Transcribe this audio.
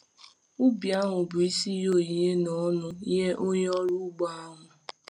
Ubi ahụ bụ isi ihe onyinye na ọṅụ nye onye ọrụ ugbo ahụ.